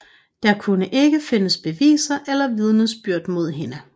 Der kunne ikke findes beviser eller vidnesbyrd mod hende